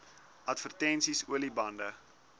advertensies olie bande